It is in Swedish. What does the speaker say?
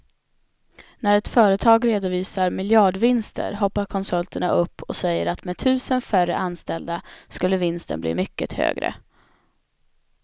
När ett företag redovisar miljardvinster hoppar konsulterna upp och säger att med tusen färre anställda skulle vinsten bli mycket högre.